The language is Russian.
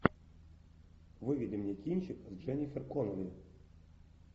выведи мне кинчик с дженнифер коннелли